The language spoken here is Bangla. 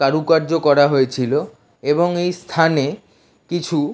কারুকার্য করা হয়েছিল এবং এই স্থানে কিছু--